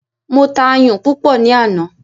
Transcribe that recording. Mo ta ayùn púpọ̀ ní àná.